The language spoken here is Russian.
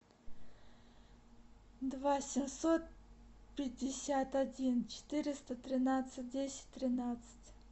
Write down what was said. два семьсот пятьдесят один четыреста тринадцать десять тринадцать